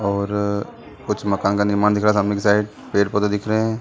और कुछ मकान का निर्माण दिख रहा है सामने की साइड पेड़ -पौधे दिख रहे हैं ।